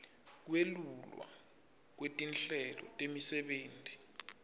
kwelulwa kwetinhlelo temisebenti